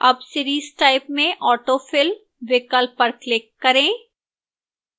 अब series type में autofill विकल्प पर click करें